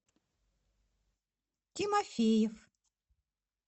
тимофеев